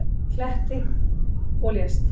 Féll fram af kletti og lést